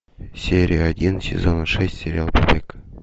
серия один сезона шесть сериал побег